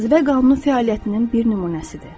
Cazibə qanunu fəaliyyətinin bir nümunəsidir.